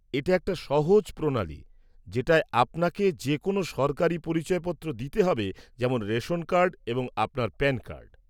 এটা একটা সহজ প্রণালি, যেটায় আপনাকে যে কোনও সরকারি পরিচয়পত্র দিতে হবে, যেমন রেশন কার্ড এবং আপনার প্যান কার্ড।